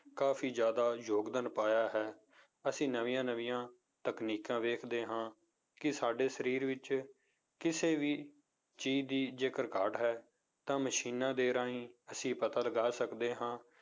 ਕਾਫ਼ੀ ਜ਼ਿਆਦਾ ਯੋਗਦਾਨ ਪਾਇਆ ਹੈ ਅਸੀਂ ਨਵੀਆਂ ਨਵੀਆਂ ਤਕਨੀਕਾਂ ਵੇਖਦੇ ਹਾਂ ਕਿ ਸਾਡੇ ਸਰੀਰ ਵਿੱਚ ਕਿਸੇ ਵੀ ਚੀਜ਼ ਦੀ ਜੇਕਰ ਘਾਟ ਹੈ ਤਾਂ ਮਸ਼ੀਨਾਂ ਦੇ ਰਾਹੀਂ ਅਸੀਂ ਪਤਾ ਲਗਾ ਸਕਦੇ ਹਾਂ